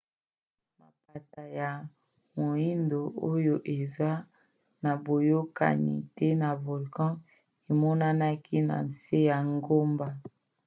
mapata ya moindo oyo eza na boyokani te na volcan emonanaki na nse ya ngomba